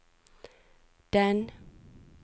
den